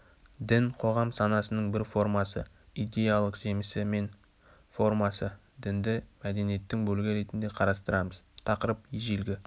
дін қоғам санасының бір формасы идеялық жемісі мен формасы дінді мәдениеттің бөлігі ретінде қарастырамыз тақырып ежелгі